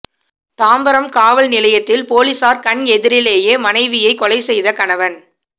தாம்பரம் காவல் நிலையத்தில் போலீசார் கண் எதிரிலேயே மனைவியை கொலை செய்த கணவன்